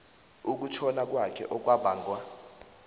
ukutjhona kwakhe okwabangwa